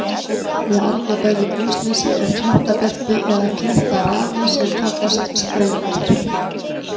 Í Arnarbæli í Grímsnesi er klettabelti eða klettarani sem kallast Sprengir.